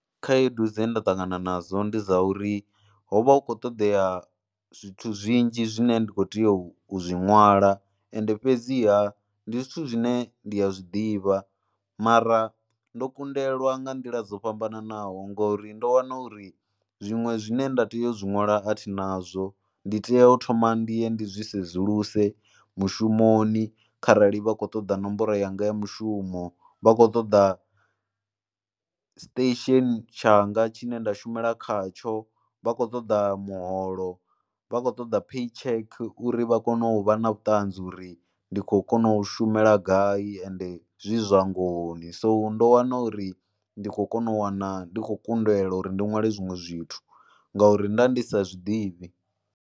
Khaedu dze nda ṱangana nadzo ndi dza uri ho vha hu khou ṱoḓea zwithu zwinzhi zwine ndi kho tea u zwi nwala ende fhedziha ndi zwithu zwine ndi a zwi ḓivha mara ndo kundelwa nga nḓila dzo fhambananaho ngori ndo wana uri zwiṅwe zwine nda tea u zwi ṅwala a thi nazwo. Ndi tea u thoma ndi ye, ndi zwi sedzuluse mushumoni kharali vha khou ṱoḓa nomboro yanga ya mushumo, vha khou ṱoḓa station tshanga tshine nda shumela khatsho, vha khou ṱoḓa muholo, vha khou ṱoḓa pay check uri vha kone u vha na vhuṱanzi uri ndi khou kona u u shumela gai ende zwi zwa ngohoni and ndo wana uri ndi khou kona u wana ndi khou kundelwa uri ndi ṅwale zwiṅwe zwithu ngauri nda ndi sa zwi ḓivhi.